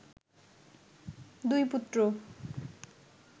দুই পুত্র